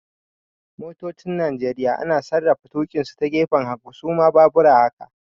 Motocin Nigeria ana sarrafa tukinsu ta gefen hagu, su ma baabura haka